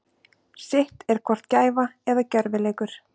Sitt er hvort gæfa eða gjörvileikur.